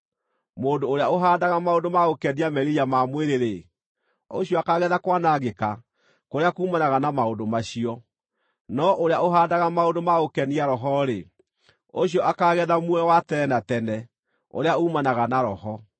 Mũndũ ũrĩa ũhaandaga maũndũ ma gũkenia merirĩria ma mwĩrĩ-rĩ, ũcio akaagetha kwanangĩka kũrĩa kuumanaga na maũndũ macio. No ũrĩa ũhaandaga maũndũ ma gũkenia Roho-rĩ, ũcio akaagetha muoyo wa tene na tene ũrĩa uumanaga na Roho.